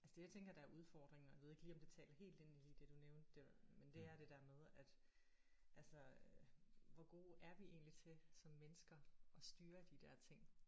Altså det jeg tænker der er udfordringen og jeg ved ikke lige om det taler helt ind i lige det du nævnte der men det er det der med at altså hvor gode er vi egentlig til som mennesker at styre de der ting